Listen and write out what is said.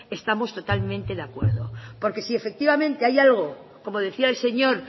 estamos totalmente de acuerdo porque si efectivamente hay algo como decía el señor